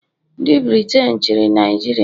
ndị Briten chịrị Naijiria.